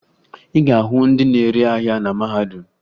Ị ga-ahụ ndị na-ere ahịa na mahadum